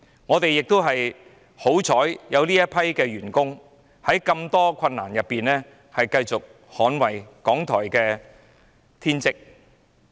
我們慶幸有這群員工在這麼多困難中繼續克盡捍衞港台的天職。